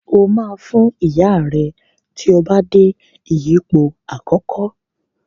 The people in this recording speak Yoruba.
O ma Fún Ìyá rẹ tíó bá dé ìyípo àkókò.